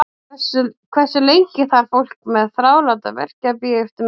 Hversu lengi þarf fólk með þráláta verki að bíða eftir meðferð?